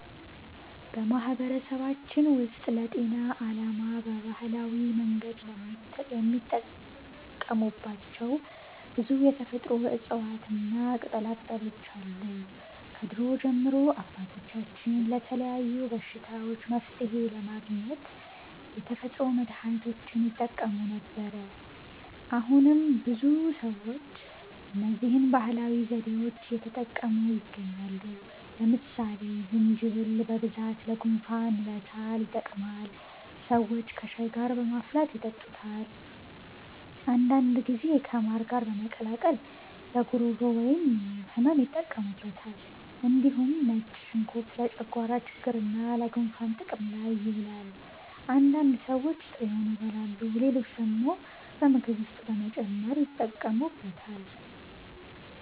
በማህበረሰባችን ውስጥ ለጤና ዓላማ በባህላዊ መንገድ የሚጠቀሙባቸው ብዙ የተፈጥሮ እፅዋትና ቅጠላቅጠሎች አሉ። ከድሮ ጀምሮ አባቶቻችን ለተለያዩ በሽታዎች መፍትሔ ለማግኘት የተፈጥሮ መድሀኒቶችን ይጠቀሙ ነበር። አሁንም ብዙ ሰዎች እነዚህን ባህላዊ ዘዴዎች እየተጠቀሙ ይገኛሉ። ለምሳሌ ዝንጅብል በብዛት ለጉንፋንና ለሳል ይጠቅማል። ሰዎች ከሻይ ጋር በማፍላት ይጠጡታል። አንዳንድ ጊዜ ከማር ጋር በመቀላቀል ለጉሮሮ ህመም ይጠቀሙበታል። እንዲሁም ነጭ ሽንኩርት ለጨጓራ ችግርና ለጉንፋን ጥቅም ላይ ይውላል። አንዳንድ ሰዎች ጥሬውን ይበላሉ፣ ሌሎች ደግሞ በምግብ ውስጥ በመጨመር ይጠቀሙበታል።